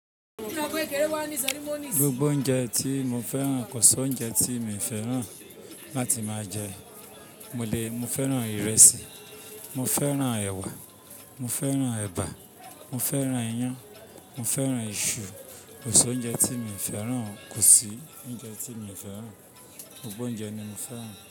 Gbogbo oúnjẹ tí mo fẹ́ràn kò si oúnjẹ tí mi ò fẹ́ràn láti máa jẹ. Mo le mo fẹ́ràn ìrẹsì, mo fẹ́ràn ẹ̀wà, mo fẹ́ràn ẹ̀bà, mo fẹ́ràn iyán, mo fẹ́ràn iṣu. Kosi oúnjẹ tí mi ò fẹ́ràn kò sí oúnjẹ tí mi ò fẹ́ràn. Gbogbo oúnjẹ ni mo fẹ́ràn.